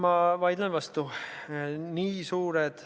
No ma vaidlen vastu.